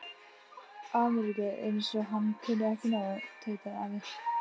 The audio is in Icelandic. Ameríku, eins og hann kunni ekki nóg, tautaði afi.